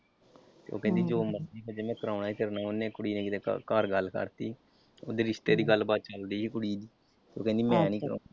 ਉਹ ਕਹਿੰਦੀ ਜੋ ਮਰਜੀ ਹੋ ਜਏ ਮੈਂ ਕਰਾਉਣਾ ਈ ਤੇਰੇ ਨਾਲ ਉਹਨੇ ਕੁੜੀ ਨੇ ਕਿਤੇ ਘਰ ਗੱਲ ਕਰਤੀ। ਉਹਦੇ ਰਿਸ਼ਤੇ ਦੀ ਗੱਲਬਾਤ ਚੱਲਦੀ ਸੀ ਕੁੜੀ ਦੇ, ਉਹ ਕਹਿੰਦੀ ਮੈਂ ਨਈਂ ਕਰਾਉਣਾ।